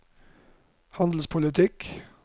handelspolitikken